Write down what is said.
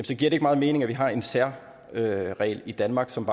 så giver det ikke meget mening at vi har en særregel i danmark som